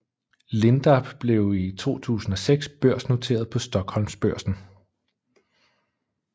Lindab blev i 2006 børsnoteret på Stockholmsbörsen